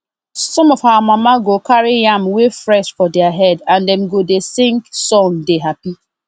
some of our mama go carry yam wey fresh for their head and dem go dey sing song dey happy